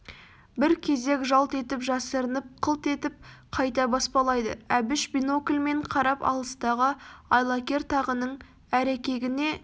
бір кезек жалт етіп жасырынып қылт етіп қайта баспалайды әбіш бинокльмен қарап алыстағы айлакер тағының әрекегіне